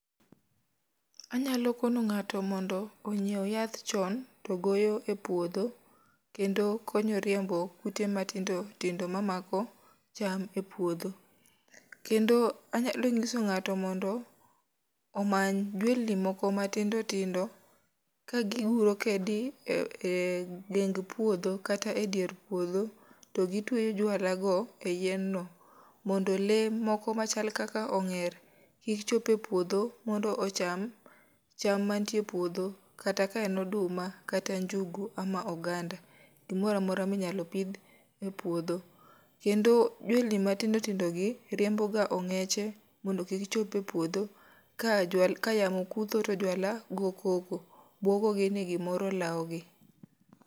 Anyalo kono ngáto mondo onyiew yath chon to goyo e puodho, kendo konyo riembo kute matindi tindo mamako cham e puodho. Kendo anyalo nyiso ngáto mondo omany jwelni moko matindo tindo ka gi guro kedi e e ding puodho kata e dier puodho. To gitweyo jwala go e yien no mondo lee moko machal kaka ongér, kik chop e puodho mondo ocham cham mantie e puodho, kata ka en oduma kata njugu ama oganda. Gimoro amora minyalo pidh e puodho. Kendo jwelni matindo tindo gi riembo ga ongéche mondo kik chop e puodho. Ka yamo kutho to jwala go koko, bwogogi ni gimoro lawo gi.